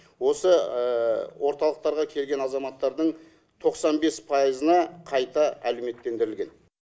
осы орталықтарға келген азаматтардың тоқсан бес пайызына қайта әлеуметтендірілген